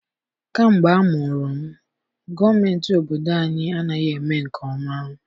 Kamgbe amụrụ m, gọọmentị obodo anyị anaghị eme nke ọma.